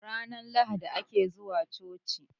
ranar lahadi ake zuwa choci